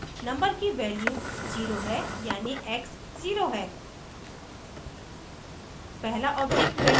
यहाँ पहले number की value 0 है यानि x 0 है